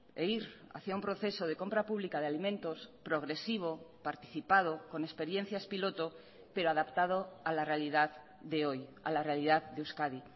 e ir hacia un proceso de compra pública de alimentos progresivo participado con experiencias piloto pero adaptado a la realidad de hoy a la realidad de euskadi